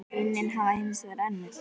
Raunin hafi hins vegar önnur.